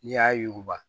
N'i y'a yuguba